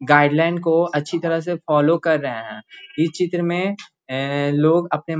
guideline को अच्छी तरह से फॉलो कर रहे है इ चित्र में लोग अपने --